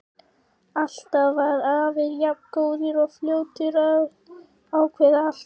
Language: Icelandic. Alltaf var afi jafn góður og fljótur að ákveða allt.